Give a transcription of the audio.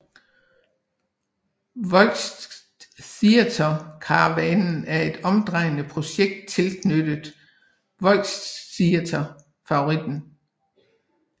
Volxtheaterkarawanen er et omrejsende projekt tilknyttet Volxtheater Favoriten